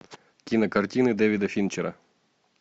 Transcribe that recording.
кинокартины дэвида финчера